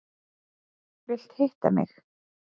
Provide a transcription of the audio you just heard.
Vilt hitta mig.